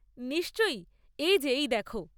নিশ্চয়ই, এই যে এই দেখো।